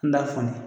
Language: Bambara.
N t'a fɔ ne ye